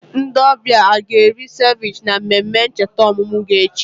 Ndị ọbịa a ga-eri seviche na mmemme ncheta ọmụmụ gị echi?